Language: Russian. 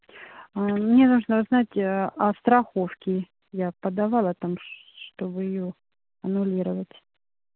мне нужно узнать аа о страховке я подавала там аа чтобы её аннулировать